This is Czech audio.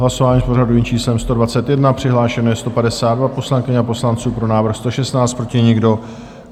Hlasování s pořadovým číslem 121, přihlášeno je 152 poslankyň a poslanců, pro návrh 116, proti nikdo.